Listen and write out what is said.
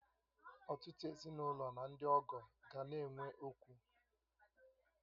Ọtụtụ ezinụlọ na ndị ọgọ ga na-enwe okwu